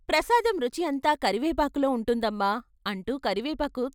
ప్రసాదం రుచి అంతా కరివేపాకులో ఉంటుందమ్మా " అంటూ కరివేపాకు